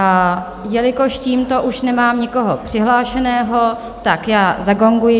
A jelikož tímto už nemám nikoho přihlášeného, tak já zagonguji.